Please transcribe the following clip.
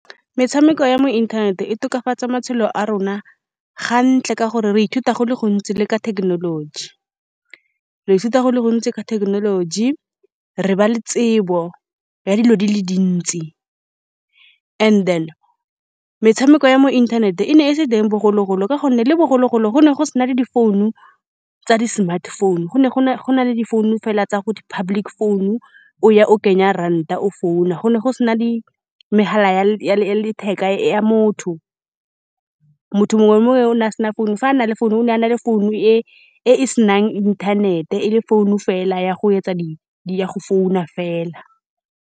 Metshameko ya mo inthaneteng e tokafatsa matshelo a rona, ga ntle ka gore re ithuta go le gontsi le ka thekenoloji. Re ithuta go le gontsi ka thekenoloji, re ba le tsebo ya dilo di le dintsi. And-e then, metshameko ya mo inthaneteng e ne e se teng bogologolo, ka gonne le bogologolo go ne go se na le difounu tsa di-smartphone. Go ne go na, go na le difounu fela tsa ko di public phone, o ya, o kenya ranta, o founa. Go ne go se na di megala ya le, ya le, ya letheka ya motho. Motho mongwe le mongwe o ne a se na founu. Fa a na le founu, o ne a na le founu e e se nang inthanete, e le founu fela ya go etsa di-di ya go founa fela.